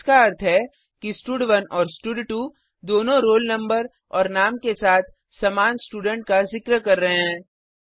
इसका अर्थ है कि स्टड1 और स्टड2 दोनों रोल नंबर और नाम के साथ समान स्टूडेंट का जिक्र कर रहे हैं